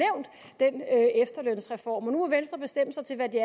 efterlønsreform så nu må venstre bestemme sig til hvad det